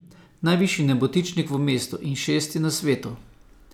Najvišji nebotičnik v mestu in šesti na svetu.